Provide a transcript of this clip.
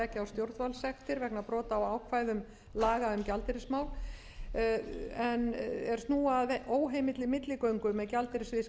leggja á stjórnvaldssektir vegna brota á ákvæðum laga um gjaldeyrismál er snúa að óheimilli milligöngu með gjaldeyrisviðskipti og erlendan gjaldeyri